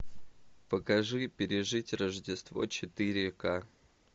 покажи пережить рождество четыре ка